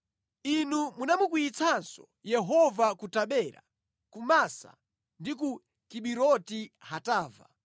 Inu munamukwiyitsanso Yehova ku Tabera, ku Masa ndi ku Kibiroti Hatava.